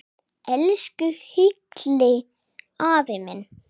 Elsku Hilli afi minn.